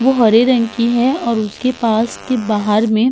वो हरे रंग की है और उसकी पास की बहार मे --